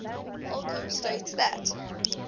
holcombe states that